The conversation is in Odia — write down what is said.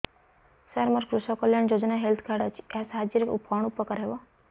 ସାର ମୋର କୃଷକ କଲ୍ୟାଣ ଯୋଜନା ହେଲ୍ଥ କାର୍ଡ ଅଛି ଏହା ସାହାଯ୍ୟ ରେ କଣ ଉପକାର ହବ